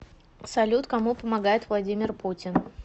салют кому помогает владимир путин